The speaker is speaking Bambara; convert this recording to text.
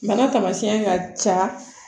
Bana tamasiyɛn ka ca